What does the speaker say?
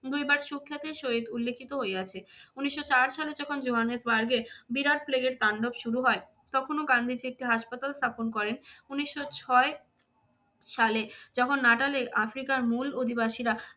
দৈবাৎ সুখ্যাতির সহিত উল্লেখিত হইয়াছে। উনিশশো চার সালে যখন জোহানেসবার্গে বিরাট প্লেগের তাণ্ডব শুরু হয় তখনও গান্ধীজী একটি হাসপাতাল স্থাপন করেন। উনিশশো ছয় সালে যখন নাটালের আফ্রিকার মূল অধিবাসীরা